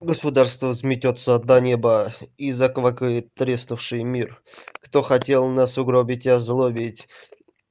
государство сметётся до неба и заквакает треснувшей мир кто хотел нас угробить озлобить